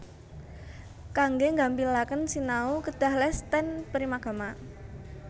Kangge nggampilaken sinau kedah les ten Primagama